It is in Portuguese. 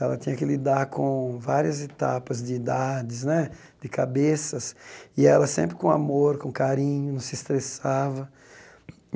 Ela tinha que lidar com várias etapas de idades né, de cabeças, e ela sempre com amor, com carinho, não se estressava.